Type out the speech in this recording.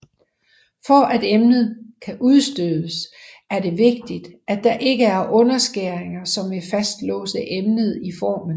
For at emnet kan udstødes er det vigtigt at der ikke er underskæringer som vil fastlåse emnet i formen